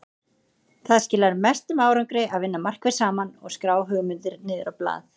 Það skilar mestum árangri að vinna markvisst saman og skrá hugmyndir niður á blað.